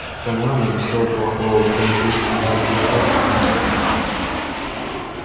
по-моему ничего плохого возмутился гарри да что с вами